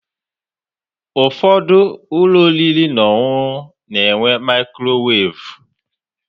Ụfọdụ ụlọ oriri na ọṅụṅụ na-enwe maikrowaavu